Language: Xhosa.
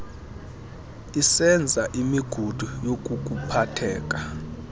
isenza imigudu yokukuphathela